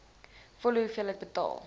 volle hoeveelheid betaal